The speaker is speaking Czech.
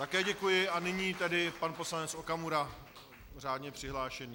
Také děkuji, a nyní tedy pan poslanec Okamura řádně přihlášený.